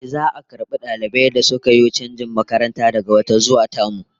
Ehh, za'a karbi dalibai da suka yo chanjin makaranta daga wata zuwa tamu